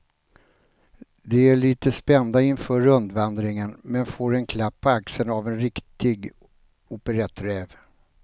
De är lite spända inför rundvandringen men får en klapp på axeln av en riktig operetträv.